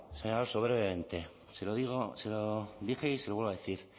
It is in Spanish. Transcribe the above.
señor alonso brevemente se lo dije y se lo vuelvo a decir